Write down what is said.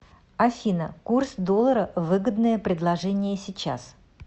афина курс доллара выгодное предложение сейчас